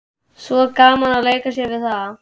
Svo gaman að leika sér við það.